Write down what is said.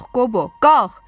Qalx Qobo, qalx!